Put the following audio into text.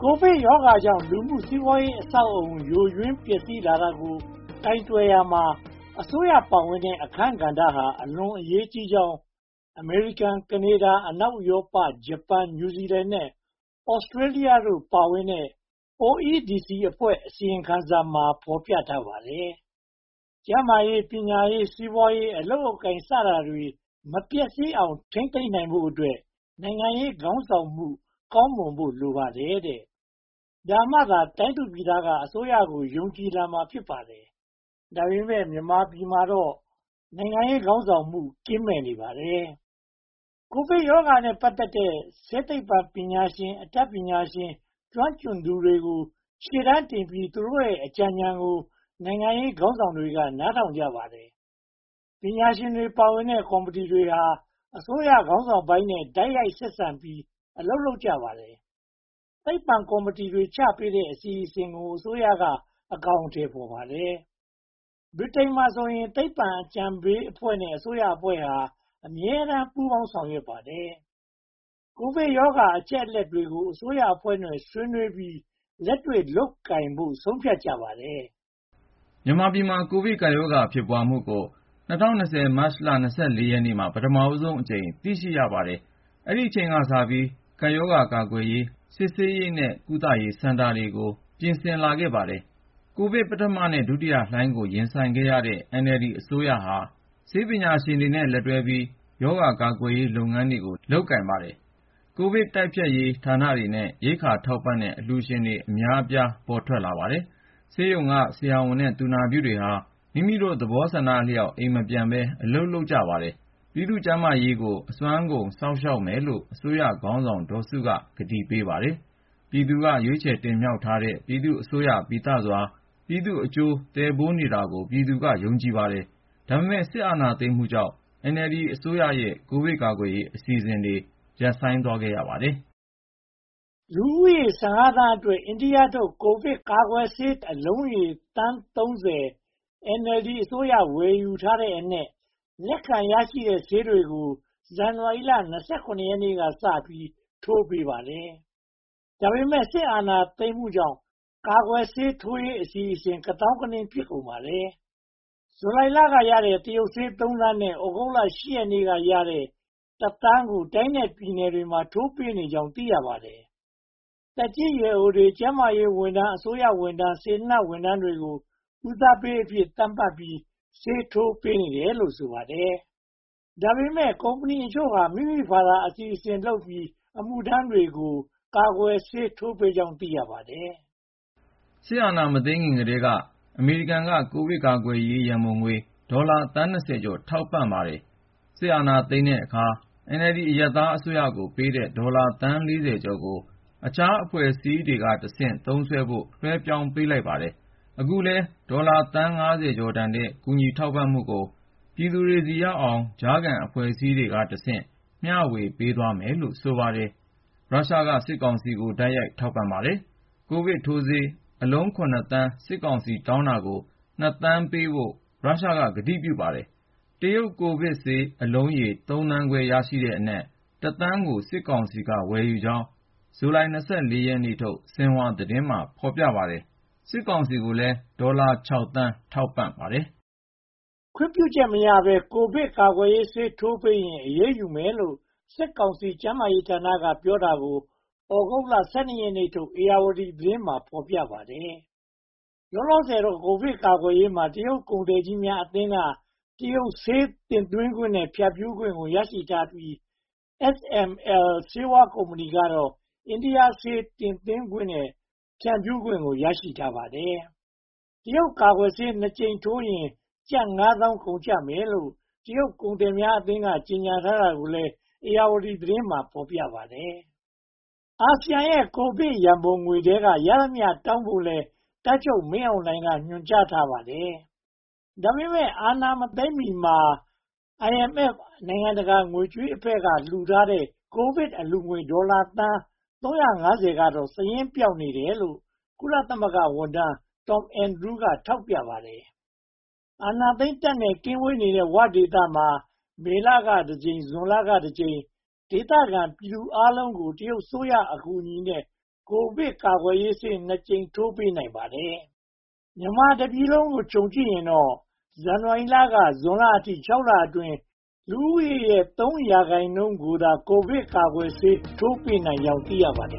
ိုဗစ်ရောဂါကြောင့် လူမှုစီးပွားရေးအဆောက်အအုံ ယိုယွင်းပျက်စီးလာတာကို ကိုင်တွယ်ရာမှာ အစိုးရပါဝင်တဲ့ အခန်းကဏ္ဍဟာ အလွန်အရေးကြီးကြောင်း အမေရိကန်၊ ကနေဒါ၊ အနောက်ဥရောပါ၊ ဂျပန်၊ နယူးဇီးလန် နဲ့ သြစတေးလျတို့ ပါဝင်တဲ့ OECD အဖွဲ့ အစီရင်ခံစာမှာ ဖော်ပြထားပါတယ်။ ကျျန်းမာရေး၊ ပညာရေး၊ စီးပွားရေး၊ အလုပ်အကိုင် စတာတွေ မပျက်စီးအောင် ထိန်းသိမ်းထားနိုင်ဖို့အတွက် နိုင်ငံရေးခေါင်းဆောင်မှု ကောင်းမွန်ဖို့ လိုပါတယ်။ ဒါမှသာ တိုင်းသူပြည်သားများက အစိုးရကို ယုံကြည်လာမှာ ဖြစ်ပါတယ်။ ဒါပေမဲ့ မြန်မာပြည်မှာ နိုင်ငံရေးခေါင်းဆောင်မှု ကင်းမဲ့မှုများပါတယ်။ ကိုဗစ်ရောဂါနဲ့ ပတ်သက်တဲ့ ဆေးပညာရှင်၊ အတတ်ပညာရှင်နဲ့ ကျွမ်းကျင်သူတွေကို ရှေ့တန်းတင်ပြီး သူတို့အကြံဉာဏ်ကို နိုင်ငံခေါင်းဆောင်တွေ နားထောင်ကြပါတယ်။ ပညာရှင်တွေပါဝင်တဲ့ ကော်မတီတွေဟာ အစိုးရခေါင်းဆောင်ပိုင်းနဲ့ တိုက်ရိုက်ဆက်ဆံပြီး အလုပ်လုပ်ကြပါတယ်။ ခတွချပေးတဲ့ အစီအစဉ်ကို အစိုးရက အကောင်အထည်ဖော်ပါတယ်။ ဗြိတိန်မှာဆိုရင် သိပ္ပံအကြံပေးအဖွဲ့နဲ့ အစိုးရအဖွဲ့ဟာ အမြဲတမ်းပူးပေါင်းဆောင်ရွက်ပါတယ်။ ကိုဗစ်ရောဂါ အချက်အလက်တွေကို အစိုးရအဖွဲ့နဲ့ ဆွေးနွေးပြီး လက်တွေ့လုပ်ကိုင်ဖို့ ဆုံးဖြတ်ကြပါတယ်။ မြန်မာပြည်မှာ ကိုဗစ်ရောဂါ ဖြစ်ပွားမှုကို ၂၀၂၀ မတ်လ ရက်နေ့မှာ ပထမဦးဆုံးအကြိမ် သိရှိရပါတယ်။ အဲဒီအချိန်ကစပြီး ရောဂါကာကွယ်ရေး၊ စစ်ဆေးရေးနဲ့ ကုသရေး စတာတွေကို ပြင်ဆင်လာခဲ့ပါတယ်။ ကိုဗစ် ပထမနဲ့ ဒုတိယလှိုင်းကို ရင်ဆိုင်ရတဲ့ NLD အစိုးရဟာ ဆေးပညာရှင်တွေနဲ့ လက်တွဲပြီး ရောဂါကာကွယ်ရေးလုပ်ငန်းကို လုပ်ကိုင်ပါတယ်။ ကိုဗစ်တိုက်ဖျက်ရေးဌာနတွေနဲ့ ရိက္ခာထောက်ပံ့တဲ့ အလှူရှင်တွေ အများအပြား ပေါ်ထွက်လာပါတယ်။ ဆေးရုံက ဆရာဝန်နဲ့ သူနာပြုတွေဟာ မိမိတို့သဘောအလျောက် အိမ်မပြန်ဘဲ အလုပ်လုပ်ကြပါတယ်။ ပြည်သူ့ကျန်းမာရေးကို အစွမ်းကုန် စောင့်ရှောက်မယ်လို့ အစိုးရခေါင်းဆောင် ဒေါ်စုက ကတိပေးပါတယ်။ ပြည်သူက ရွေးကောက်တင်မြှောက်ထားတဲ့ ပြည်သူအစိုးရပီသစွာ ပြည်သူ့အကျိုးသယ်ပိုးနေတာကို ပြည်သူက ယုံကြည်ပါတယ်။ ဒါပေမဲ့ စစ်အာဏာသိမ်းမှုကြောင့် NLD အစိုးရရဲ့ ကိုဗစ်ကာကွယ်ရေး အစီအစဉ်တွေ ရပ်ဆိုင်းသွားရပါတယ်။ လူဦးရေ သန်းအတွက် အိန္ဒိယထုတ် ကိုဗစ်ကာကွယ်ဆေး အလုံးရေ သန်း ကို NLD အစိုးရ ဝယ်ယူထားတဲ့အနက် လက်ခံရရှိတဲ့ဆေးတွေကိ ဇန်နဝါရီလ ရက်နေ့ကစပြီး ထိုးပေးပါတယ်။ ဒါပေမဲ့ စစ်အာဏာသိမ်းမှုကြောင့် ကာကွယ်ဆေးထိုးရေးအစီအစဉ် ကသောင်းကနင်း ဖြစ်ကုန်ပါတယ်။ ဇူလိုင်လကရတဲ့ တရုတ်ဆေး သန်းနဲ့ သြဂုတ်လ ရက်နေ့ကရတဲ့ သန်းတို့ကို တိုင်းနဲ့ပြည်နယ်တွေမှာ ထိုးပေးနေကြောင်း သိရပါတယ်။ သက်ကြီးရွယ်အိုတွေ၊ ကျန်းမာရေးဝန်ထမ်းတွေ၊ အစိုးရဝန်ထမ်းတွေ၊ စေတနာ့ဝန်ထမ်းတွေကို ဦးစားပေးအဖြစ် သတ်မှတ်ပြီး ဆေးထိုးပေးနေတယ်လို့ ဆိုပါတယ်။ ဒါပေမဲ့ ကုမ္ပဏီအချို့ဟာ မိမိတို့ဘာသာအစီအစဉ်လုပ်ပြီး အမှုထမ်းတွေကို ကာကွယ်ဆေး ထိုးပေးကြောင်း သိရပါတယ်။ စစ်အာဏာမသိမ်းမီကတည်းက အမေရိကန်က ကိုဗစ်ကာကွယ်ရေး ရန်ပုံငွေ ဒေါ်လာသန်း ကျော် ထောက်ပံ့ပေးထားပါတယ်။ စစ်အာဏာသိမ်းတဲ့အခါ NLD အရပ်သားအစိုးရကိုပေးတဲ့ ဒေါ်လာသန်း ကျော်ကို အခြားအဖွဲ့အစည်းတွေကတဆင့် သုံးစွဲဖို့ လွှဲပြောင်းပေးလိုက်ပါတယ်။ အခုလည်း ဒေါ်လာသန်း ကျော်တန်တဲ့ ကူညီထောက်ပံ့မှုတွေကို ပြည်သူတွေဆီရောက်အောင် ကြားခံအဖွဲ့တွေကတဆင့် မျှဝေသွားမယ်လို့ ဆိုပါတယ်။ ရုရှားကတော့ စစ်ကောင်စီကို တိုက်ရိုက်ထောက်ပံ့ပါတယ်။ ကိုဗစ်ထိုးဆေးအလုံး သန်း စစ်ကောင်စီတောင်းတာကို သန်းပေးဖို့ ရုရှားက ကတိပြုပါတယ်။ တရုတ်ကိုဗစ်ဆေးလုံးရေ သန်းခွဲ ရရှိတဲ့အနက် သန်းကို စစ်ကောင်စီက ဝယ်ယူကြောင်း ဇူလိုင် ရက်ထုတ် ဆင်ဟွာသတင်းမှာ ဖော်ပြထားပါတယ်။ စစ်ကောင်စီကိုလည်း ဒေါ်လာ သန်း ထောက်ပံ့ပါတယ်။ ခွင့်ပြုချက်မရဘဲ ကိုဗစ်ကာကွယ်ဆေး ထိုးပေးရင် အရေးယူမယ်လို့ စစ်ကောင်စီ ကျန်းမာရေးဌာနက ပြောတာကို သြဂုတ်လ ရက်နေ့ထုတ် ဧရာဝတီသတင်းမှာ ဖော်ပြခဲ့ပါတယ်။ လောလောဆယ်တော့ ကိုဗစ်ကာကွယ်ရေးမှာ တရုတ်ကုန်သည်ကြီးများအသင်းက တရုတ်ဆေးတင်သွင်းခွင့်နဲ့ ဖြန့်ဖြူးခွင့်ကို ရရှိထားပြီး၊ SML ဆေးဝါးကုမ္ပဏီကတော့ အိန္ဒိယဆေး တင်သွင်းခွင့်နဲ့ ဖြန့်ဖြူးခွင့်တွေ ရထားကြပါတယ်။ တရုတ်ကာကွယ်ဆေး နှစ်ကြိမ်ထိုးရင် ကျပ်ငါးသောင်း ကုန်ကျမယ်လို့ တရုတ်ကုန်သည်များအသင်းက ကြေညာထားတာကိုလည်း ဧရာဝတီသတင်းမှာ ဖော်ပြပါတယ်။ အာဆီယံရဲ့ ကိုဗစ်ရန်ပုံငွေထဲက ရသမျှတောင်းယူဖို့ကိုလည်း တပ်ချုပ်မင်းအောင်လှိုင်က ညွှန်ကြားထားပါတယ်။ ဒါပေမဲ့ အာဏာမသိမ်းမီမှာ IMF နိုင်ငံတကာငွေကြေးအဖွဲ့က လှူထားတဲ့ ကိုဗစ်အလှူငွေ ဒေါ်လာသန်း ကတော့ စာရင်းပျောက်နေတယ်လို့ ကုလသမဂ္ဂဝန်ထမ်း Tom Andrews က ထောက်ပြပါတယ်။ အာဏာသိမ်းတပ်နဲ့ ကင်းဝေးတဲ့ 'ဝ' ဒေသမှာတော့ မေလမှာတကြိမ်၊ ဇွန်လမှာတကြိမ် ဒေသခံပြည်သူအားလုံးကို တရုတ်အစိုးရ အကူအညီနဲ့ ကိုဗစ်ကာကွယ်ဆေး ကြိမ် ထိုးပေးနိုင်ပါတယ်။ မြန်မာပြည်တပြည်လုံးကို ခြုံကြည့်ရင်တော့ ဇန်နဝါရီလကနေ ဇွန်လအထိ လအတွင်းမှာ လူဦးရေရဲ့ ရာခိုင်နှုန်းကျော်ကိုသာ ကိုဗစ်ကာကွယ်ဆေး ထိုးပေးနိုင်ခဲ့ကြောင်း သိရပါတယ